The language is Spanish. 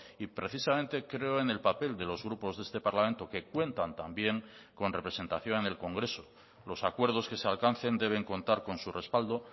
y precisamente creo en el papel de los grupos de este parlamento que cuentan también con representación en el congreso los acuerdos que se alcancen deben contar con su respaldo